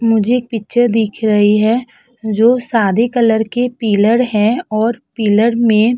मुझे एक पिक्चर दिख रही है जो सादे कलर के पिलर हैं और पिलर में--